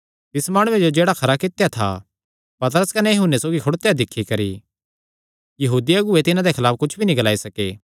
तिस माणुये जो जेह्ड़ा खरा कित्या था पतरस कने यूहन्ने सौगी खड़ोत्या दिक्खी करी यहूदी अगुऐ तिन्हां दे खलाफ कुच्छ भी नीं ग्लाई सके